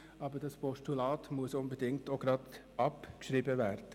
Aber das Postulat muss unbedingt auch gleich abgeschrieben werden.